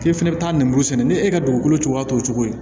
K'e fɛnɛ bɛ taa ninmuru sɛnɛ ni e ka dugukolo cogoya t'o cogo ye